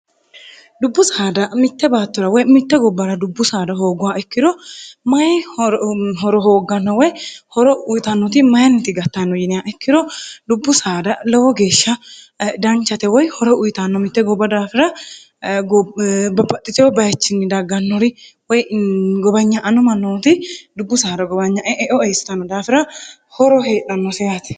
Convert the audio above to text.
dubbu saada mitte baattorawoy mitte gobbara dubbu saada hooggowa ikkiro mayi horo hoogganno woy horo uyitannooti mayinniti gattanno yinia ikkiro dubbu saada lowo geeshsha danchate woy horo uyitanno mitte gobba daafira bapaxiteo bayichinni daggannori woy gobanya anu mannonoti dubbu s gobnye eoeisnno daafira horo heedhannoseaati